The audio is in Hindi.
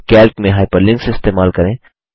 कैल्क में हाइपरलिंक्स इस्तेमाल करें